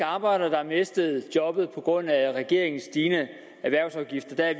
arbejdere der har mistet jobbet på grund af regeringens stigende erhvervsafgifter er